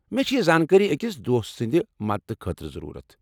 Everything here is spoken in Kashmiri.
مےٚ چھےٚ یہ زانکٲری أکس دوستہٕ سٕنٛدِ مدتہٕ خٲطرٕ ضرورت۔